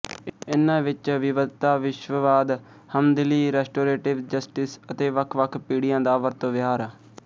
ਇਨ੍ਹਾਂ ਵਿੱਚ ਵਿਵਧਤਾ ਵਿਸ਼ਵਵਾਦ ਹਮਦਿਲੀ ਰੈਸਟੋਰੇਟਿਵ ਜਸਟਿਸ ਅਤੇ ਵੱਖ ਵੱਖ ਪੀੜ੍ਹੀਆਂ ਦਾ ਵਰਤੋਂ ਵਿਹਾਰ